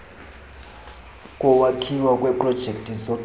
kokwakhiwa kweprojekthi zogesi